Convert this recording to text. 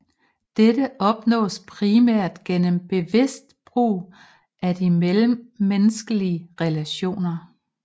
Dette opnås primært gennem bevidst brug af de mellemmenneskelige relationer